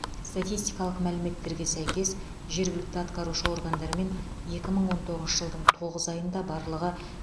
статистикалық мәліметтерге сәйкес жергілікті атқарушы органдармен екі мың он тоғызыншы жылдың тоғыз айында барлығы